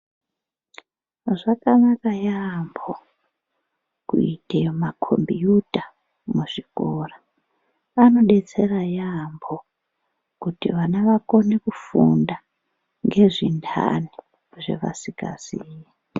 Zvakanaka yaambo kuita makombiyuta muzvikora. Anodetsera yaambo kuti vana vakone kufunda ngezventani zvevasikaziyi.